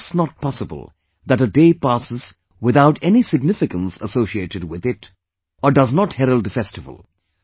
It is just not possible that a day passes without any significance associated with it, or does not herald a festival